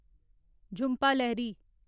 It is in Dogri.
झुंपा लाहिरी